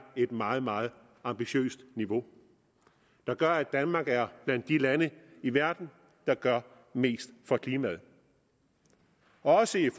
et meget meget ambitiøst niveau der gør at danmark er blandt de lande i verden der gør mest for klimaet også i